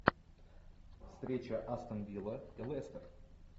встреча астон вилла и лестер